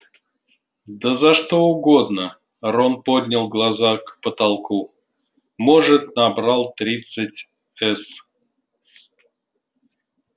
да за что угодно рон поднял глаза к потолку может набрал тридцать с